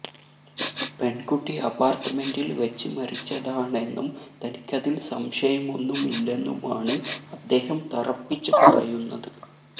പെൺകുട്ടി അപാർട്ട്മെന്റിൽ വച്ച് മരിച്ചതാണെന്നും തനിക്കതിൽ സംശയമൊന്നുമില്ലെന്നുമാണ് അദ്ദേഹം തറപ്പിച്ച് പറയുന്നത്